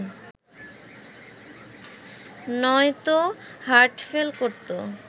নয়তো হার্টফেল করত